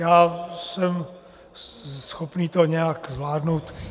Já jsem schopen to nějak zvládnout.